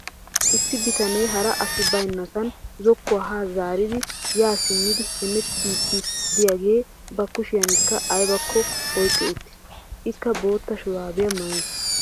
Issi bitanee hara asi baynnassan zokkuwa haa zaaridi yaa simmidi hemewttiidsi de'iyagee ba kushiyankka aybakko oyqqi uttiis. Ikka bootta shuraabiya maayiis.